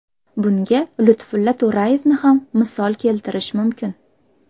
Bunga Lutfulla To‘rayevni ham misol keltirish mumkin.